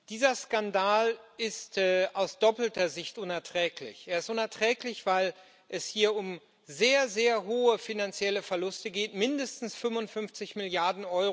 Dieser Skandal ist aus doppelter Sicht unerträglich. Er ist unerträglich, weil es hier um sehr, sehr hohe finanzielle Verluste geht mindestens 55 Mrd.